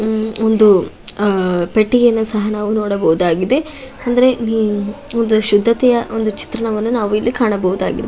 ಹ್ಮ್ ಒಂದು ಪೆಟ್ಟಿಗೆಯನ್ನ ಸಹ ನಾವು ನೋಡಬಹುದಾಗಿದೆ. ಅಂದ್ರೆ ಹ್ಮ್ ಒಂದು ಶುದ್ಧತೆಯ ಚಿತ್ರಣ ವನ್ನು ನಾವು ಕಾಣಬಹುದಾಗಿದೆ.